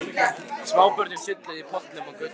Smábörnin sulluðu í pollum á götunni.